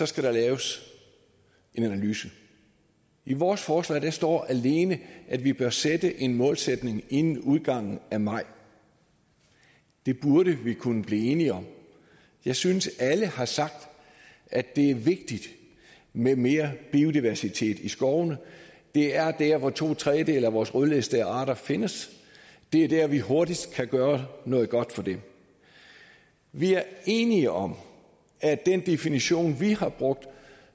skal der laves en analyse i vores forslag står der alene at vi bør sætte en målsætning inden udgangen af maj det burde vi kunne blive enige om jeg synes alle har sagt at det er vigtigt med mere biodiversitet i skovene det er der hvor to tredjedele af vores rødlistede arter findes det er der vi hurtigt kan gøre noget godt for dem vi er enige om at den definition vi har brugt